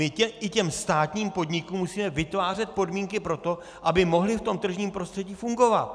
My i těm státním podnikům musíme vytvářet podmínky pro to, aby mohly v tom tržním prostředí fungovat.